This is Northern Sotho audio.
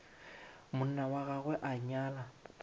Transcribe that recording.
monna wa gagwe a nyala